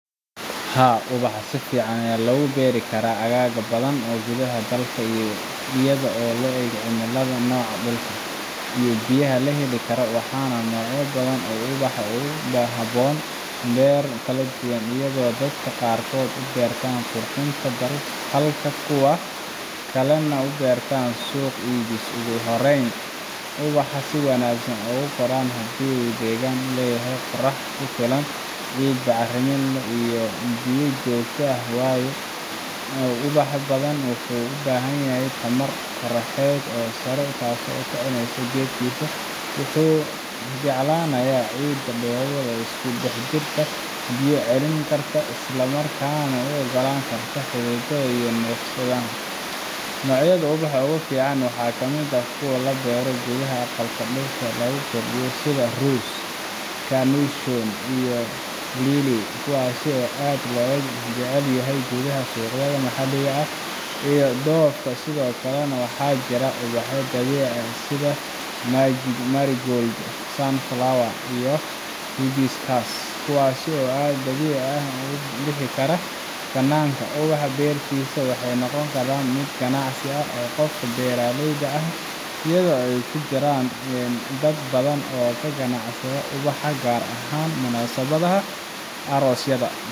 Haa, ubaxa waa lagu beeri karaa aaggaaga haddii uu jiro cimilada ku habboon iyo daryeel joogto ah oo la siiyo, iyadoo ay muhiim tahay in la fahmo nooca dhulka, heerkulka, iftiinka qorraxda, iyo helitaanka biyaha, si loo doorto ubaxa ugu habboon deegaankaas. Ubaxa ku fiican in laga beero aagagga kuleylka dhexdhexaadka ah waxaa ka mid ah ubaxa oo aad u qurux badan marka uu ubaxayo, sidoo kale ubaxa waa doorasho wanaagsan maadaama uu leeyahay adkaysi kulaylka iyo daryeel fudud. Aagagga qabow waxaa ku fiican ubaxa oo ubaxyo soo baxa marka qaboobaha dhammaado.